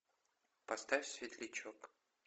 поставь светлячок